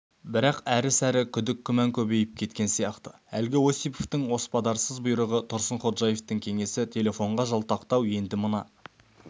бірақ әрі-сәрі күдік-күмән көбейіп кеткен сияқты әлгі осиповтың оспадарсыз бұйрығы тұрсынходжаевтың кеңесі телефонға жалтақтау енді мына